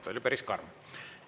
See oli päris karm.